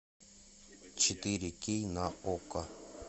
четыре кей на окко